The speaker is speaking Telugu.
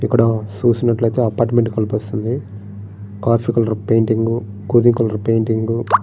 ఇక్కడ చూసినట్లయితే అపార్ట్మెంట్ కనిపిస్తుంది. కాఫీ కలర్ పెయింటింగ్ గోధుమ కలర్ పెయింటింగ్ --